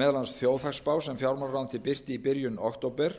meðal annars þjóðhagsspá sem fjármálaráðuneytið birti í byrjun október